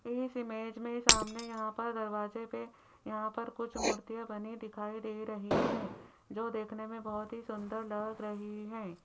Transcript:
इस इमेज में सामने यहां पर दरवाजे पे यहां पर कुछ मूर्तियां बनी दिखाई दे रही हैं जो देखने में बहोत ही सुंदर लग रही है।